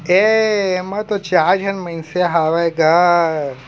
ए एमा तो चार झन मइनसे ऐ हवे गा ।